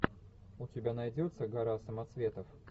у тебя найдется гора самоцветов